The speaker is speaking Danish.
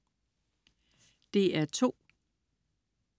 DR2: